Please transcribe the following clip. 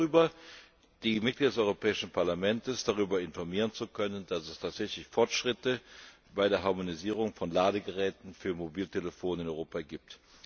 Ich bin froh darüber, die Mitglieder des Europäischen Parlaments darüber informieren zu können, dass es tatsächlich Fortschritte bei der Harmonisierung von Ladegeräten für Mobiltelefone in Europa gibt.